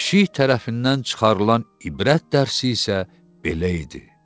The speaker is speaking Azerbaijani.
Pişik tərəfindən çıxarılan ibrət dərsi isə belə idi.